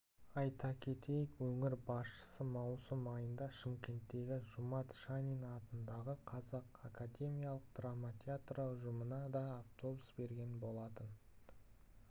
айта кетейік өңір басшысы маусым айында шымкенттегі жұмат шанин атындағы қазақ академиялық драма театры ұжымына да автобус берген болатын